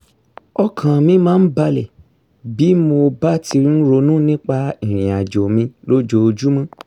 ọkàn mi máa ń bàlẹ̀ bí mo bá ti ń ronú nípa ìrìn àjò mi lójoojúmọ́